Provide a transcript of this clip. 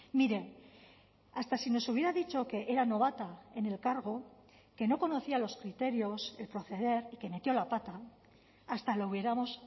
mire hasta si nos hubiera dicho que era novata en el cargo que no conocía los criterios el proceder y que metió la pata hasta lo hubiéramos